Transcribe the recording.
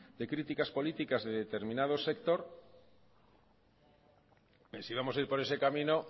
de críticas políticas de determinado sector si vamos a ir por ese camino